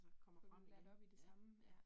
Få dem lært op i det samme, ja